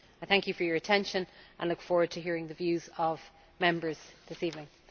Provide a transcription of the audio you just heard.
I thank you for your attention, and I look forward to hearing the views of Members this evening.